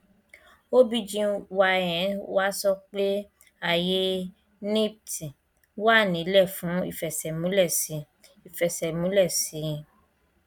obgyn wa sọ pé ayé nipt wà nílẹ fún ìfẹsẹmúlẹ sí i ìfẹsẹmúlẹ sí i